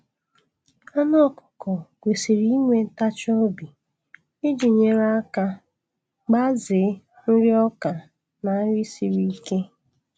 Anụ ọkụkọ kwesiri inwe ntachi obi iji nyere aka gbazee nri ọka na nri siri ike.